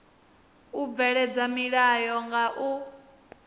u bveledza milayo nga u